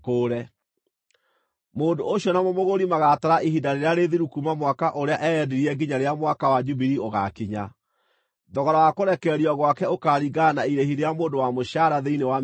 Mũndũ ũcio na mũmũgũri magaatara ihinda rĩrĩa rĩthiru kuuma mwaka ũrĩa eyendirie nginya rĩrĩa Mwaka wa Jubilii ũgaakinya. Thogora wa kũrekererio gwake ũkaaringana na irĩhi rĩa mũndũ wa mũcaara thĩinĩ wa mĩaka ĩyo.